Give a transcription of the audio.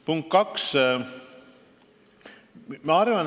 Punkt kaks.